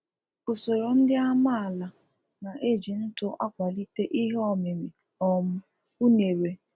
usoro ndị amaala na eji ntụ akwalite ihe ọmịmị um unere